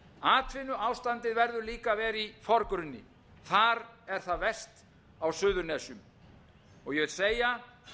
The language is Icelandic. atvinnuástandið verður glíma að vera í forgrunni þar er það verst á suðurnesjum ég vil segja